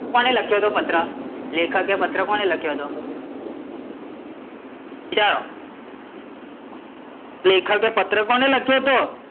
કોને લખ્યો હતો પત્ર? લેખકે કોને પત્ર લખ્યો હતો? વિચારો. લેખકે કોને પત્ર લખ્યો હતો?